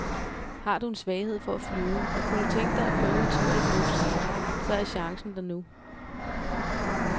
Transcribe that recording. Har du en svaghed for at flyve og kunne du tænke dig at prøve en tur i et luftskib, så er chancen der nu.